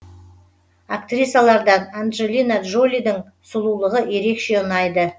актрисалардан анджелина джолидің сұлулығы ерекше ұнайды